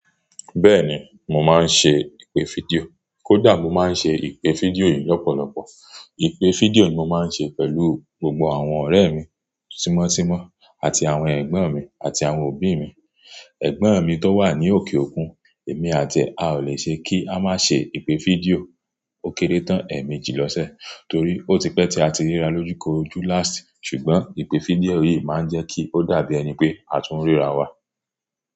Bẹ́ẹ̀ni, mo máa ń ṣe ìpè fídíò. Kódà mo máa ń ṣe ìpè fídíò yìí lọ́pọ̀lọpọ̀. Ìpè fídíò yìí mo máa ń ṣe pẹ̀lú gbogbo àwọn ọ̀rẹ́ mi tímọ́ tímọ́ àti àwọn ẹ̀gbọ́n mi àti àwọn òbí mi. Ẹ̀gbọ́n mi tó wà ní òkè òkun, èmi àti ẹ̀, a ò lè ṣe kí a má ṣe ìpè fídíò ó kéré tán ẹ̀ẹ̀mẹjì lọ́sẹ̀ torí ó ti pẹ́ tí a ti ríra lójúkoroojú last. Ṣùgbọ́n ìpè fídíò yìí máa ń jẹ́ kí ó dàbí ẹni pé a tún ríra wa.